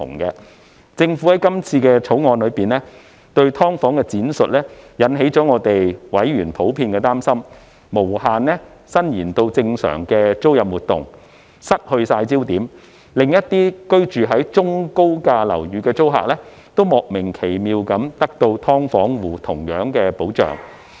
就政府在今次《條例草案》中對"劏房"的闡釋，委員普遍擔心，會無限引申至正常的租賃活動、失去焦點，令一些居於中、高價樓宇的租客，也莫名奇妙地獲得"劏房戶"同樣的保障。